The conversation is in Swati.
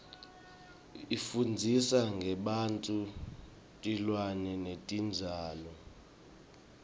ifundzisa ngebantfu tilwane netitjalo